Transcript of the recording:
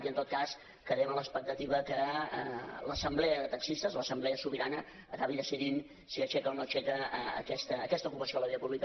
i en tot cas quedem a l’expectativa que l’assemblea de taxistes l’assemblea sobirana acabi decidint si aixeca o no aixeca aquesta ocupació de la via pública